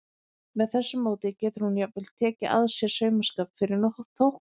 Með þessu móti getur hún jafnvel tekið að sér saumaskap fyrir þóknun.